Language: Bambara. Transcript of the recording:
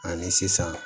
Ani sisan